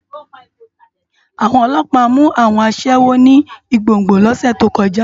Awòn òlòpá mú áwòn aṣèwó ni Igbogbo lòsè tókòjá